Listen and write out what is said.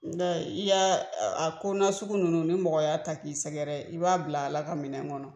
n' i y'a, a kona sugu ninnu, ni mɔgɔy'a ta k'i sɛgɛrɛ, i b'a bila Ala ka minɛn kɔnɔkɔnɔ